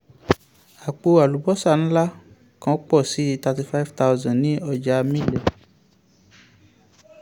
àpò àlùbúsà ńlá kan pọ̀ sí thirty five thousand ní ọjà mile twelve.